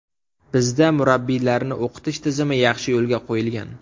Bizda murabbiylarni o‘qitish tizimi yaxshi yo‘lga qo‘yilgan.